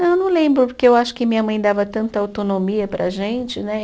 Não, eu não lembro, porque eu acho que minha mãe dava tanta autonomia para a gente, né?